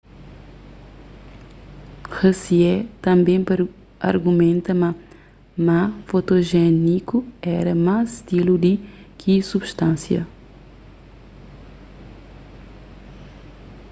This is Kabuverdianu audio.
hsieh tanbê argumenta ma ma fotojéniku éra más stilu di ki substansia